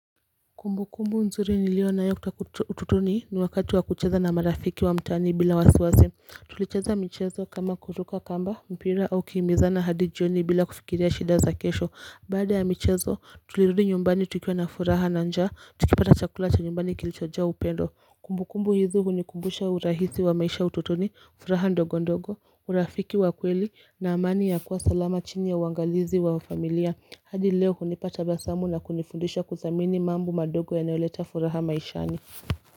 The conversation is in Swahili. Kumbukumbu nzuri niliyo nayo kutoka utotoni ni wakati wa kucheza na marafiki wa mtaani bila wasiwasi Tulicheza michezo kama kuruka kamba mpira au kukimbizana hadi jioni bila kufikiria shida za kesho Baada ya michezo tulirudi nyumbani tukiwa na furaha na njaa tukipata chakula cha nyumbani kilichojaa upendo Kumbukumbu hizo hunikumbusha urahisi wa maisha utotoni furaha ndogo ndogo urafiki wa kweli na amani ya kuwa salama chini ya uangalizi wa familia hadi leo hunipata tabasamu na kunifundisha kuthamini mambo madogo yanayoleta furaha maishani.